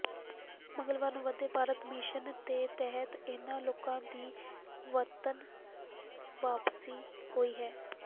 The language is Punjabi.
ਮੰਗਲਵਾਰ ਨੂੰ ਵੰਦੇ ਭਾਰਤ ਮਿਸ਼ਨ ਦੇ ਤਿਹਤ ਇਨ੍ਹਾਂ ਲੋਕਾਂ ਦੀ ਵਤਨ ਵਾਪਸੀ ਹੋਈ ਹੈ